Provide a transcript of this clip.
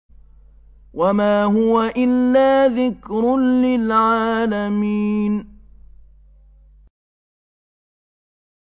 وَمَا هُوَ إِلَّا ذِكْرٌ لِّلْعَالَمِينَ